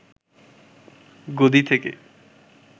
গদি থেকে